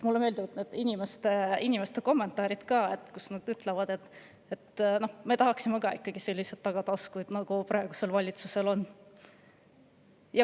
Mulle meeldivad inimeste kommentaarid: "Me tahaksime ka selliseid tagataskuid, nagu praegusel valitsusel on.